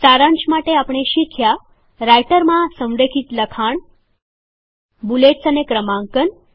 સારાંશ માટે આપણે શીખ્યા રાઈટરમાં સંરેખિત લખાણ બૂલેટ્સ અને ક્રમાંકન